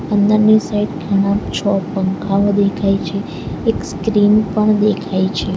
અંદરની સાઈડ ઘણા છ પંખાઓ દેખાય છે એક સ્ક્રીન પણ દેખાય છે.